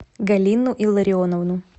галину илларионовну